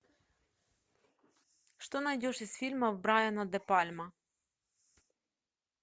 что найдешь из фильмов брайана де пальма